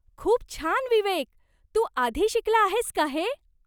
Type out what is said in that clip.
खूप छान विवेक! तू आधी शिकला आहेस का हे?